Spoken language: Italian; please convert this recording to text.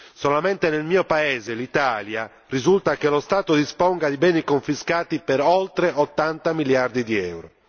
Solamente nel mio paese, l'Italia, risulta che lo Stato disponga di beni confiscati per oltre 80 miliardi di euro.